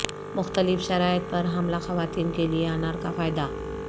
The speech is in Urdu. مختلف شرائط پر حاملہ خواتین کے لئے انار کا فائدہ